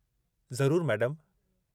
ज़रूरु मैडमु।